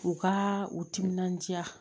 U ka u timinanja